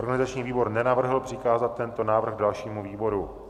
Organizační výbor nenavrhl přikázat tento návrh dalšímu výboru.